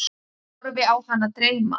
Horfi á hana dreyma.